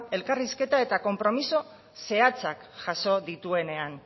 elkarrizketa eta konpromiso zehatzak jaso dituenean